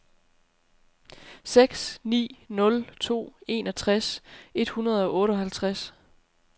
seks ni nul to enogtres et hundrede og otteoghalvtreds